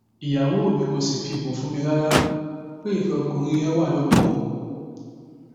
ìyàwó mi kò sì fi bò fún mi rárá pé ìfẹ ọkùnrin yẹn wà lọkàn òun